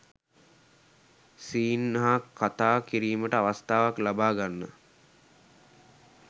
scene හා කතා කිරීමට අවස්ථාවක් ලබා ගන්න